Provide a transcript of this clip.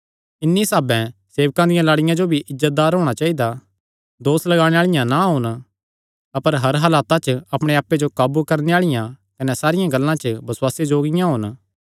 इन्हीं साह्भें सेवकां दियां लाड़ियां जो भी इज्जतदार होणा चाइदा दोस लगाणे आल़िआं ना होन अपर हर हालता च अपणे आप्पे जो काबू करणे आल़िआं कने सारियां गल्लां च बसुआसे जोग्गियां होन